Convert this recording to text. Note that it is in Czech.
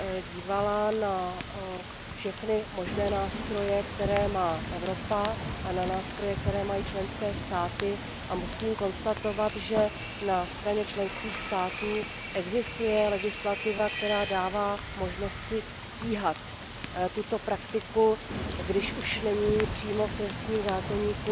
Dívala jsem se na všechny možné nástroje, které má Evropa, a na nástroje, které mají členské státy, a musím konstatovat, že na straně členských států existuje legislativa, která dává možnosti stíhat tuto praktiku, když už není přímo v trestním zákoníku